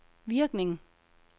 virkning